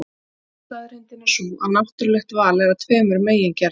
Önnur staðreyndin er sú að náttúrulegt val er af tveimur megin gerðum.